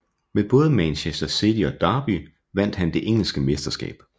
Med både Manchester City og Derby vandt han det engelske mesterskab